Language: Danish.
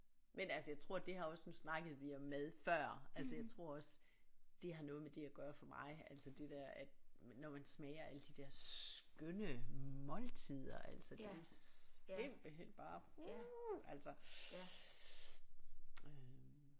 Men altså jeg tror det her også nu snakkede vi om mad før altså jeg tror også det har noget med det at gøre for mig altså det der at når man smager alle de der skønne måltider altså det simpelthen bare uh altså øh